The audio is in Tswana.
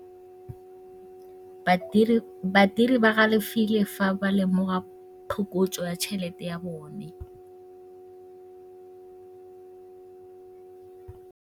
Badiri ba galefile fa ba lemoga phokotsô ya tšhelête ya bone.